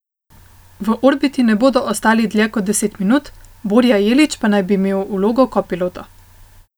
V orbiti ne bodo ostali dlje kot deset minut, Borja Jelič pa naj bi imel vlogo kopilota.